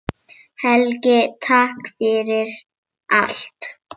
Helgi, takk fyrir allt.